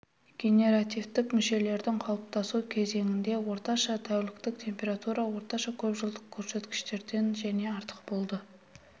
генеративтік мүшелердің қалыптасу кезеңінде орташа тәуліктік температура орташа көпжылдық көрсеткіштерден және артық болды